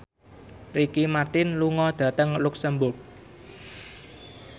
Ricky Martin lunga dhateng luxemburg